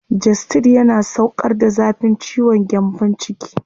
Gestid yana sauƙar da zafin ciwon gyambon ciki.